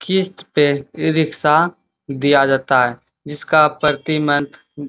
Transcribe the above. किश्त पे e rickshaw दिया जाता है जिसका प्रति मंथ --